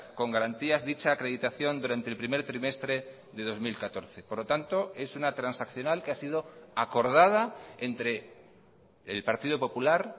con garantías dicha acreditación durante el primer trimestre de dos mil catorce por lo tanto es una transaccional que ha sido acordada entre el partido popular